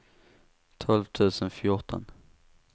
tolv tusen fjorton